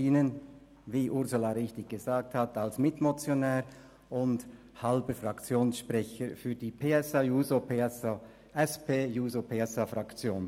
Wie die Präsidentin gesagt hat, stehe ich als Mitmotionär und halber Fraktionssprecher für die SP-JUSO-PSA-Fraktion vor Ihnen.